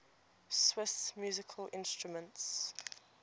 swiss musical instruments